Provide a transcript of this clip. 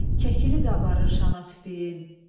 Kəkili qabarır şana pipiyin,